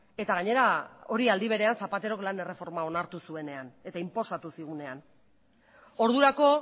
eta gainera hori aldi berean zapaterok lan erreforma onartu zuenean eta inposatu zigunean ordurako